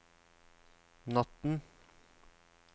natten